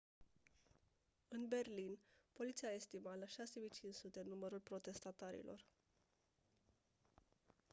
în berlin poliția a estimat la 6500 numărul protestatarilor